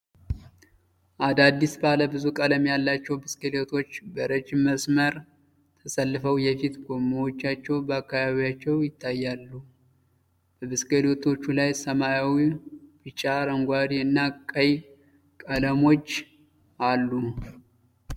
አዳዲስ፣ ባለብዙ ቀለም ያላቸው ብስክሌቶች በረጅም መስመር ተሰልፈው የፊት ጎማዎቻቸው በአካባቢያቸው ይታያሉ። በብስክሌቶቹ ላይ ሰማያዊ፣ ቢጫ፣ አረንጓዴ እና ቀይ ቀለሞች አሉ።